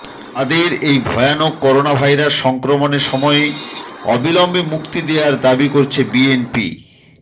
তাদের এই ভয়ানক করোনাভাইরাস সংক্রমণের সময়ে অবিলম্বে মুক্তি দেওয়ার দাবি করছে বিএনপি